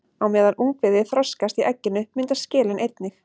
Á meðan ungviðið þroskast í egginu myndast skelin einnig.